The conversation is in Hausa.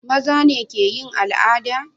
mazane keyin al'ada